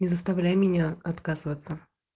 не заставляй меня отказываться